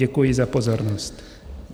Děkuji za pozornost.